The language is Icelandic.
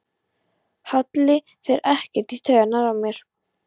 Halli fer ekkert í taugarnar á mér.